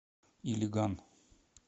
илиган